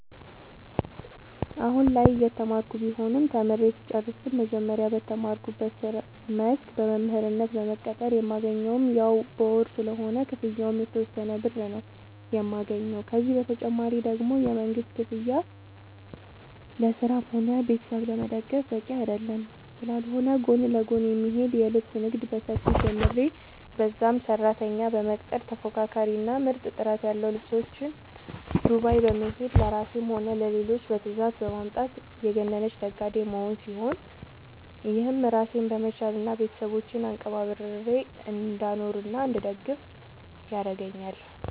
አሁላይ እየተማርኩ ቢሆንም ተምሬ ስጨርስ ግን መጀመሪያ በተማርኩበት መስክ በመምህርነት በመቀጠር የማገኘውም ያው በወር ስለሆነ ክፍያው የተወሰነ ብር ነው የማገኘው፤ ከዚህ ተጨማሪ ደግሞ የመንግስት ክፍያ ለራስም ሆነ ቤተሰብ ለመደገፍ በቂ ስላልሆነ ጎን ለጎን የሚሄድ የልብስ ንግድ በሰፊው ጀምሬ በዛም ሰራተኛ በመቅጠር ተፎካካሪ እና ምርጥ ጥራት ያለው ልብሶች ዱባይ በመሄድ ለራሴም ሆነ ለሌሎች በትዛዝ በማምጣት የገነነች ነጋዴ መሆን ሲሆን፤ ይህም ራሴን በመቻል እና ቤተሰቦቼን አንቀባርሬ እንዳኖርናእንድደግፍ ያረገአኛል።